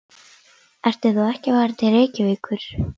Ertu þá ekki að fara til Reykjavíkur?